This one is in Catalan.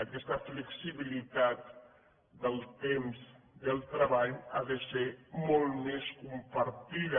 aquesta flexibilitat del temps del treball ha de ser molt més compartida